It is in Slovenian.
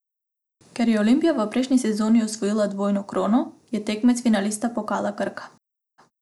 Ker je Olimpija v prejšnji sezoni osvojila dvojno krono, je tekmec finalist pokala Krka.